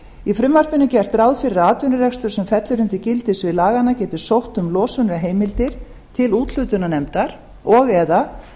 í frumvarpinu er gert ráð fyrir að atvinnurekstur sem fellur undir gildissvið laganna geti sótt um losunarheimildir til úthlutunarnefndar og eða